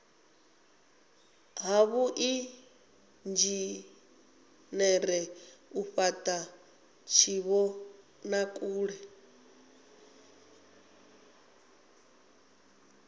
ha vhuinzhinere u fhata tshivhonakule